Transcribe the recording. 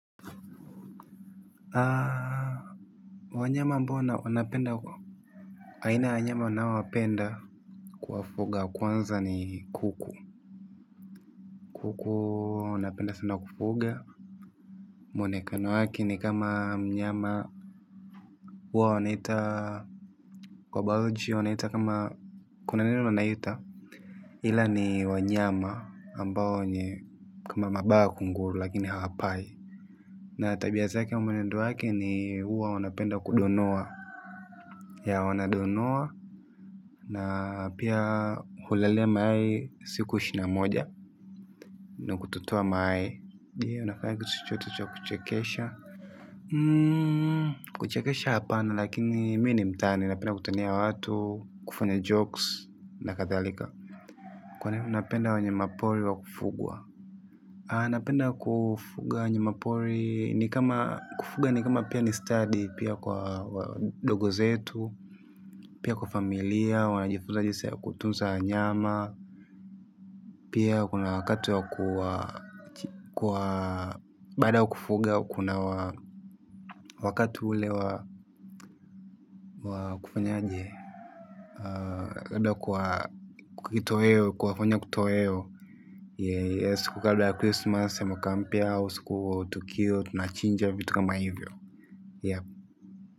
Aaaa Wanyama ambao wanapenda kwa aina ya wanyama naowapenda. Kuwafuga kwanza ni kuku. Kuku napenda sana kufuga. Mwonekano wake ni kama mnyama huwa wanaita kwa biology wanaita kama kuna neno wanaita Hmila ni wanyama ambao ni kama mabawa kunguru lakini hawapai. Na tabia zake mwenendo wake ni huwa wanapenda kudonoa. Ya wanadonoa. Na pia hulalia mayai siku ishirini na moja. Nq kutotoa mayai. Je, wanafanyanga chochote cha kuchekesha. Kuchekesha hapana, lakini mii ni mtani. Napenda kutania watu kufanya jokes na kadhalika. Kwa nini unapenda wanyama pori wa kufugwa. Napenda kufuga wanyama pori. Ni kama kufuga ni kama pia ni stadi. Pia kwa wadogo zetu. Pia kwa familia. Wanajifunza jinsi ya kutunza wanyama. Pia kuna wakati wa kwa bado kufuga kuna wakati ule wa kufanya aje. Kwa kitoheo, kuwafanya kutoheo. Siku ka labda ya christmas, ya mwakampia, au siku tukiwa, tunachinja vitu kama hivyo. Yep.